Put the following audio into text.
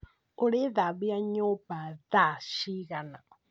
Ũrĩthambia nyumba thaa cigana?